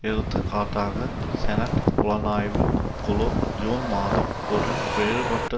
எடுத்துக்காட்டாக செனட் புலனாய்வு குழு ஜூன் மாதம் ஒரு வேறுபட்ட